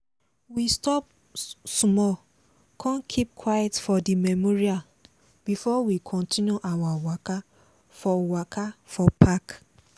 we stop small con keep quiet for di memorial before we continue our waka for waka for park.